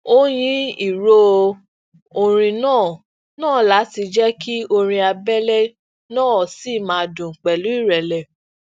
ó yín ìró orin náà náà lati jẹ ki orin abẹlẹ naa ṣi maa dun pẹlu irẹlẹ